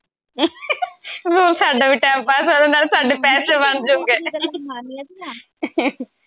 ਆਹੋ ਸਾਡਾ ਵੀ time pass ਹੋਜੂ ਨਾਲੇ ਸਾਡੇ ਪੈਸੇ ਬਣ ਜਾਊਗੇ